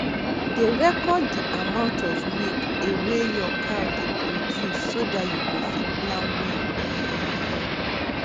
dey record de amount of milk a wey your cow dey produce so dat you go fit plan well um